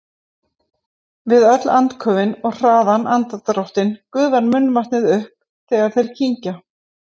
Við öll andköfin og hraðan andardráttinn gufar munnvatnið upp þegar þeir kyngja.